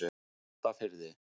Álftafirði